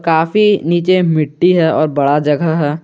काफी नीचे मिट्टी है और बड़ा जगह है।